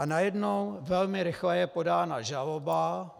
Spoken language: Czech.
A najednou velmi rychle je podána žaloba.